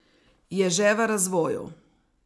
Je že v razvoju.